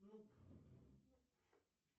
нуб